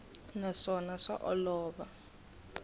naswona swa olova ku xi